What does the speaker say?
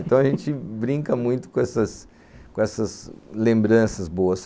Então, a gente brinca muito com essas com essas lembranças boas.